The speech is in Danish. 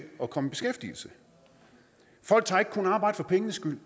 at komme i beskæftigelse folk tager ikke kun arbejde for pengenes skyld